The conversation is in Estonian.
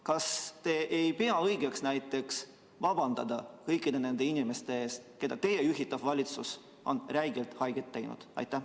Kas te ei pea õigeks vabandada kõikide nende inimeste ees, kellele teie juhitav valitsus on räigelt haiget teinud?